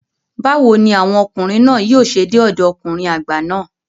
Báwo ni àwọn ọkùnrin náà yóò ṣe dé ọ̀dọ ọkùnrin àgbà náà?